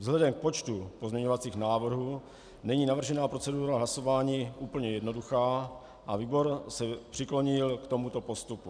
Vzhledem k počtu pozměňovacích návrhů není navržená procedura hlasování úplně jednoduchá a výbor se přiklonil k tomuto postupu.